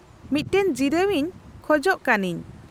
-ᱢᱤᱫᱴᱟᱝ ᱡᱤᱨᱟᱹᱣ ᱤᱧ ᱠᱷᱚᱪ ᱠᱟᱱᱟᱹᱧ ᱾